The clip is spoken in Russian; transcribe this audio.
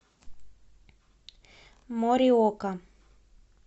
мориока